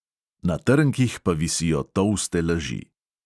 Na trnkih pa visijo tolste laži.